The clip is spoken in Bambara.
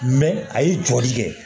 a ye jɔli kɛ